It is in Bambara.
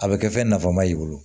A bɛ kɛ fɛn nafama ye i bolo